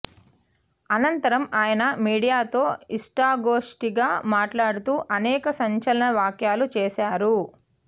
అనంతరం ఆయన మీడియాతో ఇష్టాగోష్టిగా మాట్లాడుతూ అనేక సంచలన వ్యాఖ్యలు చేశా రు